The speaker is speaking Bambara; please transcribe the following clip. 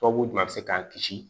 Tubabu jumɛn bɛ se k'an kisi